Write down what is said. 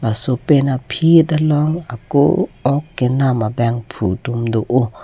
laso pen aphit along ako ok kenam abangphu atum do o.